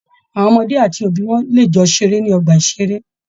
Àwọn ọmọdé àti òbí wọn lè jọ ṣeré ní ọgbà-ìṣeré